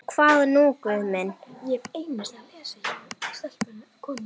Og hvað nú Guð minn?